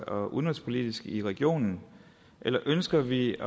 og udenrigspolitisk i regionen eller ønsker vi